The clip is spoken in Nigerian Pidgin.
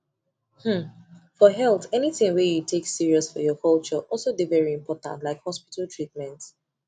hmmmfor health anything wey you you take serious for your culture also dey very important like hospital treatment